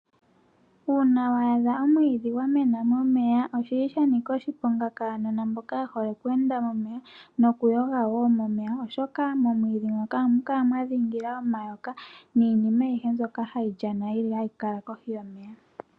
Uuna waadha omwiidhi gwamena momeya oshili shanika oshiponga kaanona mboka yehole okweenda momeya nokuyoga woo momeya oshoka, momwiidhi moka ohamu kala mwadhingila omayoka niinima aihe mbyoka hayi lyana hayi kala kohi yomeya.